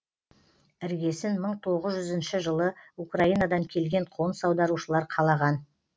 іргесін мың тоғыз жүзінші жылы украинадан келген қоныс аударушылар қалаған